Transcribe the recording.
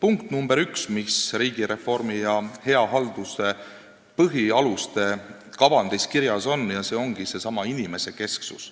punkt nr 1, mis riigireformi ja hea halduse põhialuste kavandis kirjas on, see ongi seesama inimesekesksus.